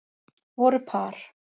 Voru par